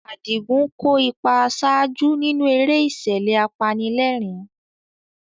Adigun kó ipa àṣáájú nínú eré ìṣẹ̀lẹ̀ apanilẹ́rìn-ín.